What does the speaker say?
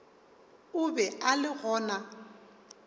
o be a le gona